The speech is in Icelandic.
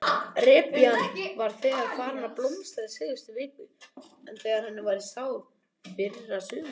Repjan var þegar farin að blómstra í síðustu viku en henni var sáð í fyrrasumar?